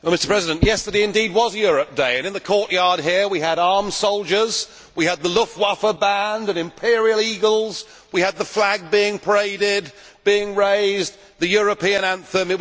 Mr President, yesterday indeed was Europe Day and in the courtyard here we had armed soldiers, we had the Luftwaffe band and imperial eagles, we had the flag being paraded, being raised, the European anthem